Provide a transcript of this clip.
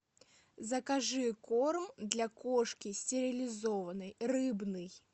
закажи корм для кошки стерилизованной рыбный